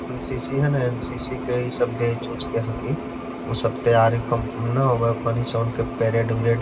NCC. है ना NCC. के ई सब बैच उच के हथी। उ सब तैयारी कम ना होब हई औखनी सब के परेड उरेड।